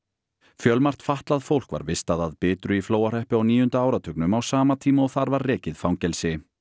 fjölmargt fatlað fólk var vistað að Bitru í Flóahreppi á níunda áratugnum á sama tíma og þar var rekið fangelsi